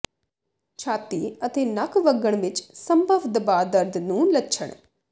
ਛਾਤੀ ਅਤੇ ਨੱਕ ਵਗਣ ਵਿੱਚ ਸੰਭਵ ਦਬਾ ਦਰਦ ਨੂੰ ਲੱਛਣ